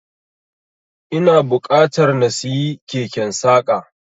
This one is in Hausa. Ina buƙatar na siyi keken saƙa.